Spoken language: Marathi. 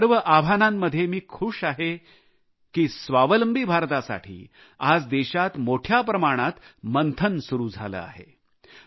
या सर्व आव्हानांमध्ये मी खूष आहे की स्वावलंबी भारतासाठी आज देशात मोठ्या प्रमाणात मंथन सुरू झाले आहे